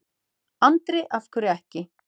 Andri: Af hverju ekki?